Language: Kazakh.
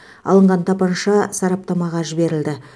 алынған тапанша сараптамаға жіберілді